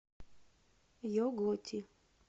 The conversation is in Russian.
е готти